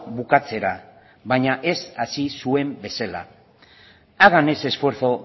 bukatzera baina ez hasi zuen bezala hagan ese esfuerzo